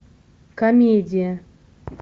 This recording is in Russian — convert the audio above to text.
комедия